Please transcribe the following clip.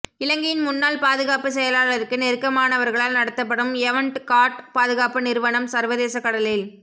இலங்கையின் முன்னாள் பாதுகாப்பு செயலாளருக்கு நெருக்கமானவர்களால் நடத்தப்படும் எவண்ட் காட் பாதுகாப்பு நிறுவனம் சர்வதேச கடலில்